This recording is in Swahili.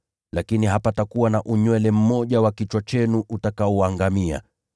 Lakini hapatakuwa na unywele mmoja wa kichwa chenu utakaoangamia.